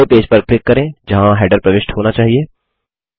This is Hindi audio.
पहले पेज पर क्लिक करें जहाँ हैडर प्रविष्ट होना चाहिए